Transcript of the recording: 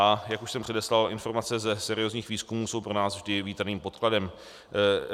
A jak už jsem předeslal, informace ze seriózních výzkumů jsou pro nás vždy vítaným podkladem.